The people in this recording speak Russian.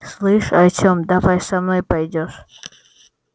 слышь артём давай со мной пойдёшь